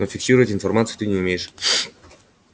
но фиксировать информацию ты не умеешь